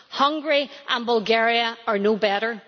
Hungary and Bulgaria are no better.